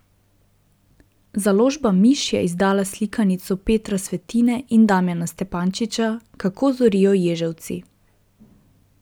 Založba Miš je izdala slikanico Petra Svetine in Damijana Stepančiča Kako zorijo ježevci.